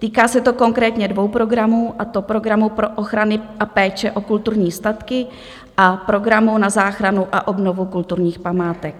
Týká se to konkrétně dvou programů, a to programu pro ochrany a péče o kulturní statky a programu na záchranu a obnovu kulturních památek.